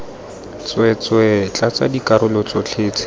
tsweetswee tlatsa dikarolo tsotlhe tse